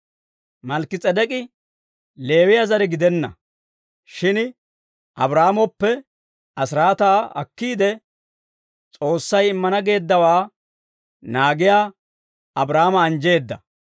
Malkki-S'edek'k'i Leewiyaa zare gidenna; shin Abraahaamoppe asiraataa akkiide, S'oossay immana geeddawaa naagiyaa Abraahaama anjjeedda.